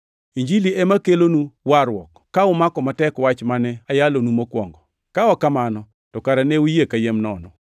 Injilini ema kelonu warruok, ka umako matek wach mane ayalonu mokwongo. Ka ok kamano, to kara ne uyie kayiem nono.